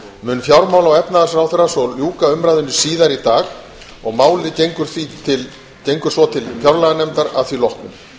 mun fjármála og efnahagsráðherra svo ljúka umræðunni síðar í dag og málið gengur svo til fjárlaganefndar að því loknu